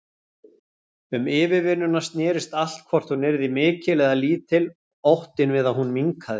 Um yfirvinnuna snerist allt, hvort hún yrði mikil eða lítil, óttinn við að hún minnkaði.